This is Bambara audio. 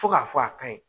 Fo k'a fɔ a kaɲi